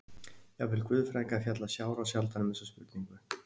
Jafnvel guðfræðingar fjalla sárasjaldan um þessa spurningu!